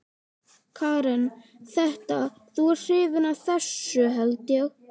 Karen: Þetta, þú ert hrifinn af þessu held ég?